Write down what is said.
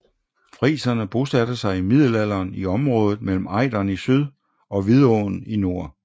Friserne bosatte sig i middelalderen i området mellem Ejderen i syd og Vidåen i nord